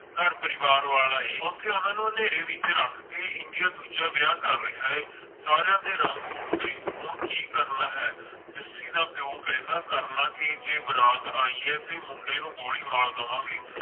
ਘਰ ਪਰਿਵਾਰ ਵਾਲਾ ਏ ਓਥੇ ਓਹਨਾ ਨੂੰ ਹਨੇਰੇ ਵਿਚ ਰੱਖ ਕੇ ਇੰਡੀਆ ਦੂਜਾ ਵਿਆਹ ਕਰ ਰਿਹਾ ਹੈ ਸਾਰਿਆਂ ਦੇ ਰੰਗ ਉਡ ਗਏ ਹੁਣ ਕਿ ਕਰਨਾ ਹੈ ਜੱਸੀ ਦਾ ਪਿਓ ਕਹਿੰਦਾ ਕਰਲਾ ਗੇ ਜੇ ਬਰਾਤ ਆਈ ਹੈ ਤੇ ਮੁੰਡੇ ਨੂੰ ਗੋਲੀ ਮਾਰ ਦਵਾਂਗੇ